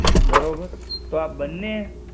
બરોબર, તો આ બંને